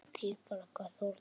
Þín frænka, Þórdís.